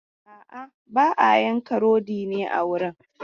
A'a, ba a yanka rodi ne a wurin.